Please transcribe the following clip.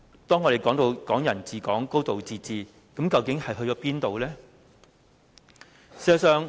我們談及的"港人治港"、"高度自治"去了哪裏呢？